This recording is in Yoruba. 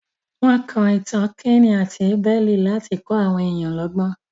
Wọ́n kọ Ìtàn Káínì àti Abẹ́lì láti kọ́ àwọn èèyàn lọ́gbọ́n.